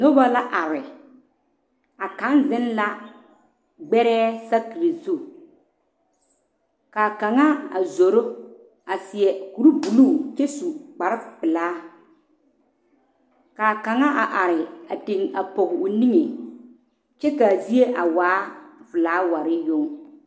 Noba la are a kaŋa zeŋ la gbeɛɛ saakere zu ka kaŋa a zoro a seɛ kur buluu kyɛ su kpare pelaa kaa kaŋa a are a te poɔ o niŋe kyɛ kaa zie a waa filaaware yoŋ.